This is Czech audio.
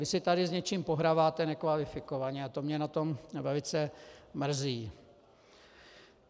Vy si tady s něčím pohráváte nekvalifikovaně a to mě na tom velice mrzí.